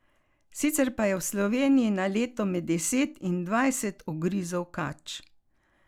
Sicer pa je v Sloveniji na leto med deset in dvajset ugrizov kač.